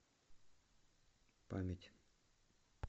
память